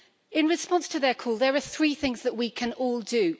In response to their call, there are three things that we can all do.